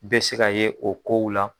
Bɛ se ka ye o kow la.